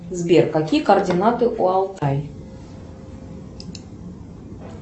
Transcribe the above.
сбер какие координаты у алтай